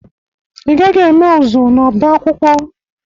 I gaghị eme ụzụ n'ọba akwụkwọ!